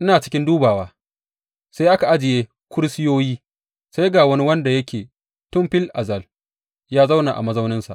Ina cikin dubawa, sai aka ajiye kursiyoyi, sai ga wani wanda yake tun fil azal ya zauna a mazauninsa.